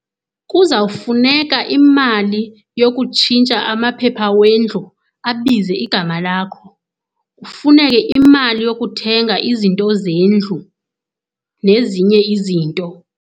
Kuzawufuneka imali yokutshintsha amaphepha wendlu abize igama lakho. Kufuneke imali yokuthenga izinto zendlu nezinye izinto.